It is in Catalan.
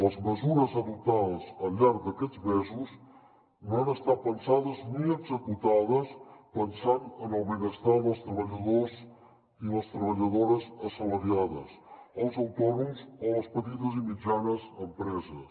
les mesures adoptades al llarg d’aquests mesos no han estat pensades ni executades pensant en el benestar dels treballadors i les treballadores assalariades els autònoms o les petites i mitjanes empreses